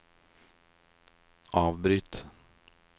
avbryt